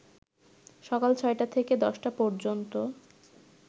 সকাল ৬টা থেকে ১০টা পর্যন্ত